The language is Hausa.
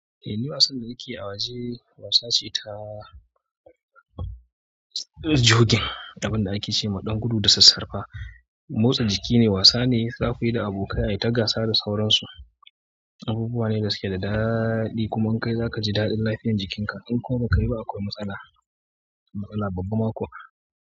Eh, ni wasan da nake a waje wasa ce ta jogin, abin da ake ce ma ɗan gudu da sassarfa. Motsa jiki ne, wasa ne, za ku yi da abokai ayi ta gasa da sauransu, abubuwa ne da suke da daɗi kuma kai za ka ji daɗin lafiyar jikinka. In kuma bai kayi ba akwai matsala, matsala babba ma kuwa.